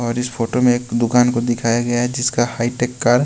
और इस फोटो में एक दुकान को दिखाया गया है जिसका हाई टेक कार्ड --